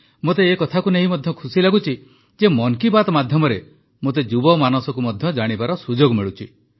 ମୋତେ ଏକଥାକୁ ନେଇ ମଧ୍ୟ ଖୁସି ଲାଗୁଛି ଯେ ମନ୍ କି ବାତ୍ ମାଧ୍ୟମରେ ମୋତେ ଯୁବମାନସକୁ ମଧ୍ୟ ଜାଣିବାର ସୁଯୋଗ ମିଳୁଛି